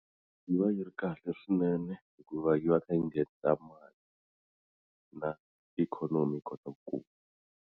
Yi va yi ri kahle swinene hikuva yi va yi kha yi nghenisa mali na ikhonomi yi kota kula.